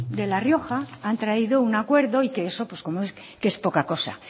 de la rioja han traído un acuerdo y que eso pues es poca cosa